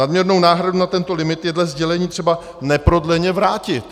Nadměrnou náhradu nad tento limit je dle sdělení třeba neprodleně vrátit.